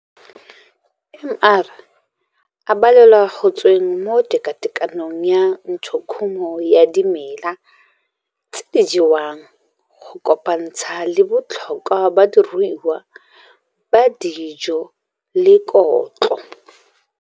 MR a balelwa go tsweng mo tekatekanong ya ntshokhumo ya dimela tse di jewang, go kopantsha le botlhokwa ba diruiwa ba dijo le kotlo.